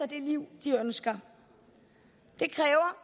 det liv de ønsker det kræver